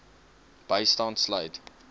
bystand sluit